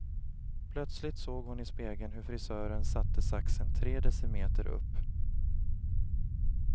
Plötsligt såg hon i spegeln hur frisören satte saxen tre decimeter upp.